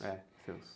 É, seus.